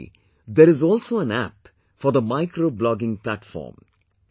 Similarly, there is also an app for micro blogging platform